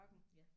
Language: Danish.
Ja